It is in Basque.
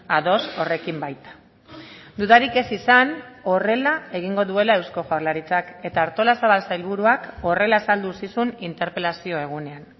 ados horrekin baita dudarik ez izan horrela egingo duela eusko jaurlaritzak eta artolazabal sailburuak horrela azaldu zizun interpelazio egunean